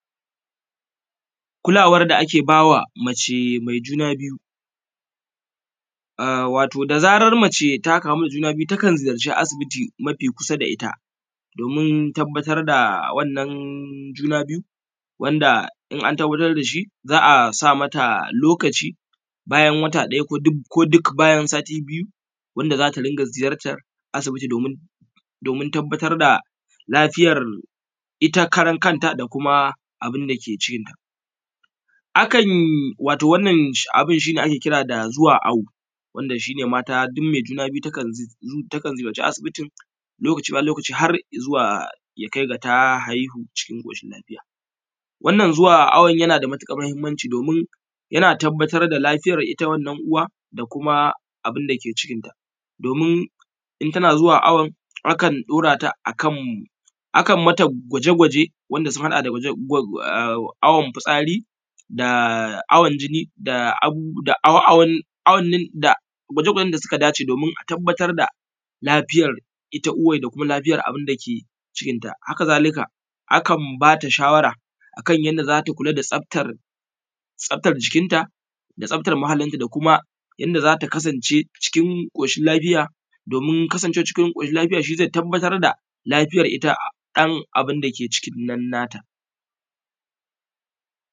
Kulawar da ake ba wa mace mai juna biyu. Wato da zarar mace ta kamu da juna biyu za ta ziyarci asibiti mafi kusa da ita domin tabbatar da wannan juna biyu, in an tabbatar da shi za a sa mata lokaci bayan wata ɗaya ko duk bayan sati biyu wanda za ta rika ziyatar asibiti domin tabbatar da lafiyar iya karankanta da abun da ke cikinta. Wato wannan abu shi ake kira da zuwa awo wanda mata duk mai juna biyu takan ziyarci asibitin lokaci bayan lokaci zuwa ya kai ma ta haihu cikin ƙoshin lafiya. Wannan zuwa awon yana da matuƙar muhimmanci yan tabbatar da lafiyar ita wannan uwa da kuma abun da ke cikinta domin in tana zuwa awon akan daura ta akan mata gwaje-gwaje wanda sun hada da awon fitsari da awon jini da abubuwan da gwaje-gwajen da suka dace domin a tabbatar da lafiyan ita wanda kuma lafiya abun da ke cikinta. Haka zalika akan ba ta shawara akan yadda za ta kula da tsaftar jikinta da tsaftar muhalli da kuma inda za ta kasance a cikin koshin lafiya domin kasancewa cikin ƙoshin lafiya shi zai tabbatar da lafiya ɗan abun da ke cikin nan nata.